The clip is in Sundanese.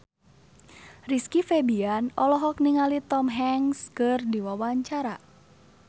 Rizky Febian olohok ningali Tom Hanks keur diwawancara